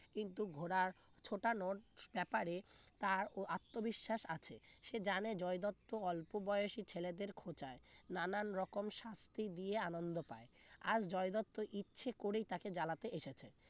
কিন্তু ঘোড়ার ছুটানোর ব্যাপারে তার ও আত্মবিশ্বাস আছে সে জানে জয় দত্ত অল্প বয়সী ছেলেদের খোঁচায় নানান রকম শাস্তি দিয়ে আনন্দ পায় আর জয় দত্ত ইচ্ছে করেই তাকে জ্বালাতে এসেছে